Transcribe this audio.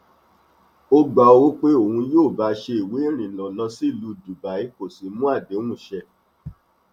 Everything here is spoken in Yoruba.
ó gba owó pé òun yóò bá a ṣe ìwé ìrìnnà lọ sílùú dubai kó sì mú àdéhùn ṣẹ